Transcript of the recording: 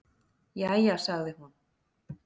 """Jæja, sagði hún."""